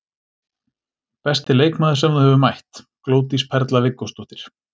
Besti leikmaður sem þú hefur mætt: Glódís Perla Viggósdóttir.